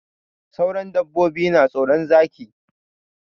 Sauran dabbobi na tsoron Zaki.